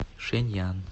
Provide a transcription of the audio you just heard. шэньян